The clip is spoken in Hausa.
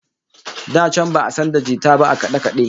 Da can ba'a san da jita ba a kade-kade